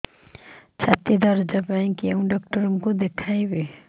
ଛାତି ଦରଜ ପାଇଁ କୋଉ ଡକ୍ଟର କୁ ଦେଖେଇବି